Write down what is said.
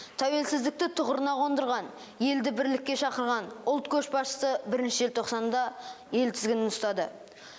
тәуелсіздікті тұғырына қондырған елді бірлікке шақырған ұлт көшбасшысы бірінші желтоқсанда ел тізгінін ұстады